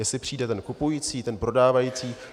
Jestli přijde ten kupující, ten prodávající.